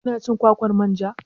Kina cin kwakwar manja?